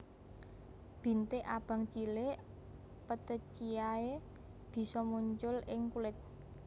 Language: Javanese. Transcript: Bintik abang cilik petechiae bisa muncul ing kulit